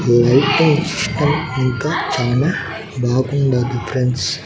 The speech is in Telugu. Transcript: ఈ వెహికల్ సిస్టం ఇంకా చాలా బాగుండాది ఫ్రెండ్స్ .